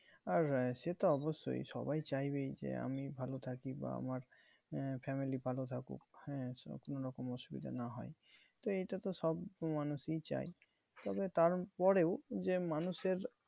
আর সে তো অবশ্যই সবাই চাইবেই যে আমি ভালো থাকি বা আমার আহ family ভালো থাকুক। হ্যাঁ যেন কোনো রকম অসুবিধা না হয়। তো এটা তো সব মানুষই চায় তবে তার পরেও যে মানুষের